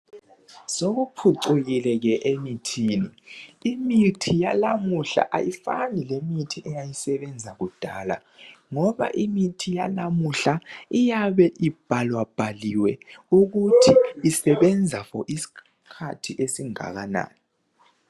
Sokuphucukile ke emithini. Imithi yalamuhla ayifani lemithi eyayisebenza kudala ngoba imithi yalamuhla iyabe ibhala bhaliwe ukuthi isebenza "for" isikhathi esingakanani.